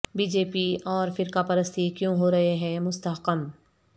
be J P اور فرقہ پرستی کیوں ہو رہے ہیں مستحکم